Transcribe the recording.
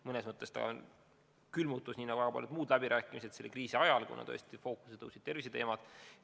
Mõnes mõttes see teema on külmunud – nii nagu väga paljud muud teemad – selle kriisi ajal, kuna fookusesse tõusid terviseteemad.